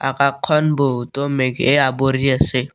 আকাশখন বহুতো মেঘে আৱৰি আছে।